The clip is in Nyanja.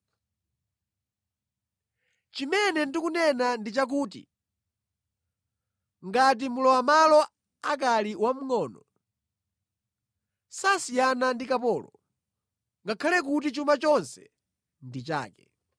Chimene ndikunena ndi chakuti, ngati mlowamʼmalo akali wamngʼono, sasiyana ndi kapolo, ngakhale kuti chuma chonse ndi chake.